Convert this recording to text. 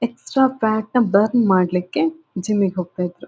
Extra fat ನ burn ಮಾಡ್ಲಿಕ್ಕೆ gym ಗೆ ಹೋಗ್ತಾಯಿದ್ದರೂ.